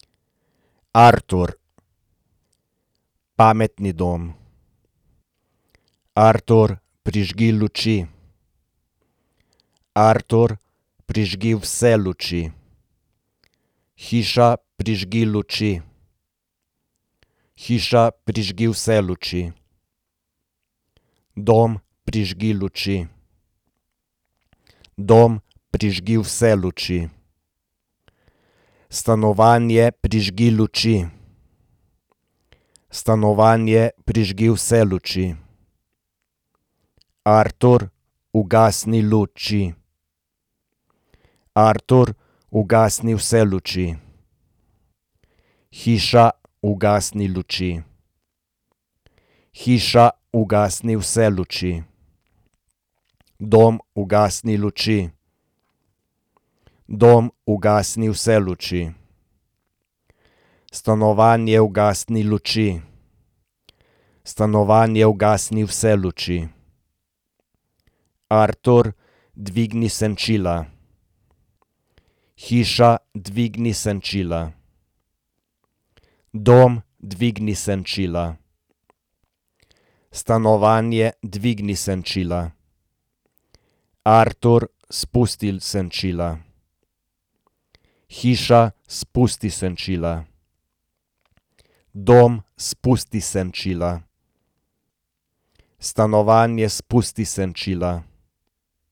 Artur. Pametni dom. Artur, prižgi luči. Artur, prižgi vse luči. Hiša, prižgi luči. Hiša, prižgi vse luči. Dom, prižgi luči. Dom, prižgi vse luči. Stanovanje, prižgi luči. Stanovanje, prižgi vse luči. Artur, ugasni luči. Artur, ugasni vse luči. Hiša, ugasni luči. Hiša, ugasni vse luči. Dom, ugasni luči. Dom, ugasni vse luči. Stanovanje, ugasni luči. Stanovanje, ugasni vse luči. Artur, dvigni senčila. Hiša, dvigni senčila. Dom, dvigni senčila. Stanovanje, dvigni senčila. Artur, spustil senčila. Hiša, spusti senčila. Dom, spusti senčila. Stanovanje, spusti senčila.